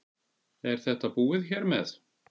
Er þetta búið hér með?